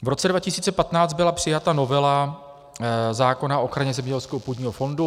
V roce 2015 byla přijata novela zákona o ochraně zemědělského půdního fondu.